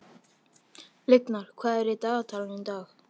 Lyngar, hvað er á dagatalinu í dag?